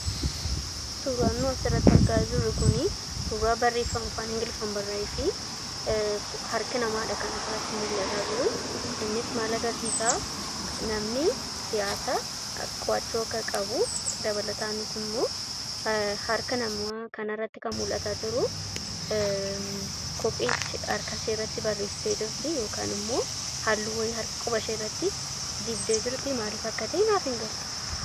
Suuraan nuyi asirratti argaa jirru kunii, suuraa barreefama afaan ingiliffaan barraa'ee fi harka namaadha kan asirratti mul'ataa jiruu. Innis maal agarsiisaa; namni siyaasaa qo'achuu akka qabu, dabalataanis immoo harka namaa kana irratti kan mul'ataa jiruu kophee ishee harka ishee irratti barreessitee jirtii yookaan immoo halluu wayii quba ishee irratti dibdee jirtii maaliif akka ta'e naaf hin galle.